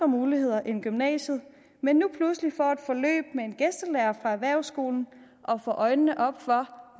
muligheder end gymnasiet men nu pludselig får et forløb med en gæstelærer fra erhvervsskolen og får øjnene op for